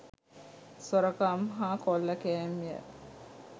සොරකම් හා කොල්ලකෑම්ය